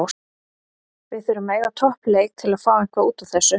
Við þurfum að eiga topp leik til að fá eitthvað útúr þessu.